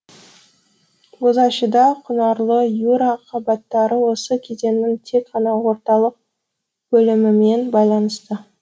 бозащыда құнарлы юра қабаттары осы кезеңнің тек қана орталық бөлімімен байланысты